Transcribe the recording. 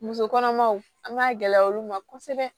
Muso kɔnɔmaw an b'a gɛlɛya olu ma kosɛbɛ